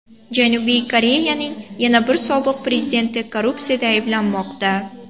Janubiy Koreyaning yana bir sobiq prezidenti korrupsiyada ayblanmoqda.